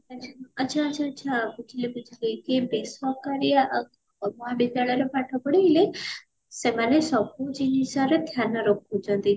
ଆଛା ଆଛା ଆଛା ବୁଝିଲି ବୁଝିଲି ଏ ବେସରକାରୀ ଆଉ ସେମାନେ ସବୁ ଜିନିଷ ର ଧ୍ୟାନ ରଖୁଛନ୍ତି